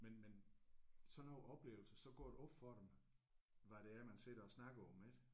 Men men sådan nogle oplevelser så går det op for dem hvad det er man sidder og snakker om ik